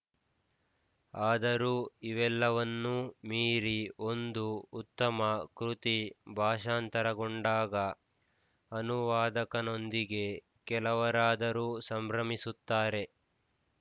ಆದರೂ ಇವೆಲ್ಲವನ್ನೂ ಮೀರಿ ಒಂದು ಉತ್ತಮ ಕೃತಿ ಭಾಷಾಂತರಗೊಂಡಾಗ ಅನುವಾದಕನೊಂದಿಗೆ ಕೆಲವರಾದರೂ ಸಂಭ್ರಮಿಸುತ್ತಾರೆ